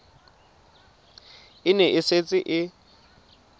e ne e setse e